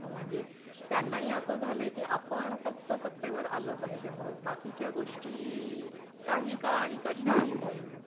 म्हणजे त्यांना ही असं झालं की आपण फक्त सत्तेवर आलं पाहिजे मग बाकी च्या गोष्टी काही का आणि कशा ही होई नात